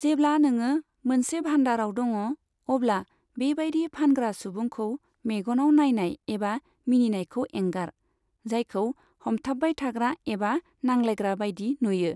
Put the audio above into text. जेब्ला नोङो मोनसे भाण्डाराव दङ, अब्ला बेबायदि फानग्रा सुबुंखौ मेगनाव नायनाय एबा मिनिनायखौ एंगार, जायखौ हमथाबबाय थाग्रा एबा नांलायग्रा बायदि नुयो।